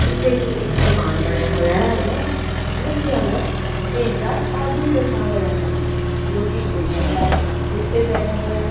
ਕਿ ਇੱਕ ਦੁਕਾਨ ਬਣਿਆ ਹੋਇਆ ਹੈਗਾ ਜਿਸ ਦੇ ਅੰਦਰ ਤਿੰਨ ਚਾਰ ਆਦਮੀ ਬੈਠਾ ਹੋਇਆ ਹੈਗਾ ਜੋ ਕਿ ਕੁਰਸੀਆਂ ਨਾਲ ਉੱਤੇ ਬੈਠਾ ਹੋਇਆ--